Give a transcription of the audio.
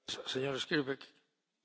Vážený pán predsedajúci.